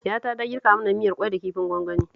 Yayata da girka mana miyar ƙwai da kifin gwangwani